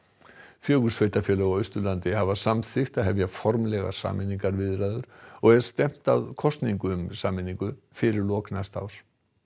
fjögur sveitarfélög á Austurlandi hafa samþykkt að hefja formlegar sameiningarviðræður og er stefnt að kosningu um sameiningu fyrir lok næsta árs